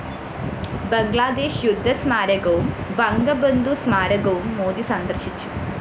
ബംഗ്ലാദേശ് യുദ്ധസ്മാരകവും വംഗബന്ധു സ്മാരകവും മോദി സന്ദര്‍ശിച്ചു